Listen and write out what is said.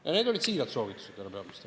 Ja need olid siirad soovitused, härra peaminister.